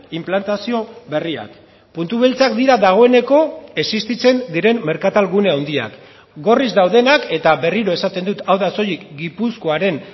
inplantazio berriak puntu beltzak dira dagoeneko existitzen diren merkatal gune handiak gorriz daudenak eta berriro esaten dut hau da soilik gipuzkoaren